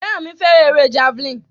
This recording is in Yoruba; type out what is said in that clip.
Feranmi fẹ́ràn eré Javelin